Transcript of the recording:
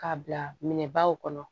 K'a bila minɛ baw kɔnɔ